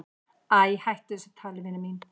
"""Æ, hættu þessu tali, vina mín."""